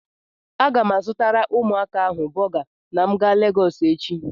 Aga m azụtara ụmụaka ahụ bọga na m ga Legọsụ echi.